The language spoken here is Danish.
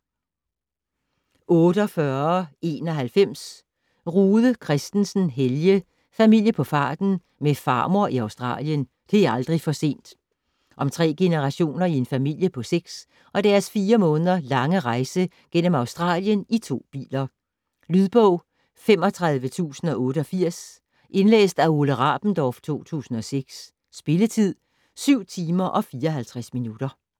48.91 Rude Kristensen, Helge: Familie på farten - med farmor i Australien: det er aldrig for sent Om tre generationer i en familie på seks og deres fire måneder lange rejse gennem Australien i to biler. Lydbog 35088 Indlæst af Ole Rabendorf, 2006. Spilletid: 7 timer, 54 minutter.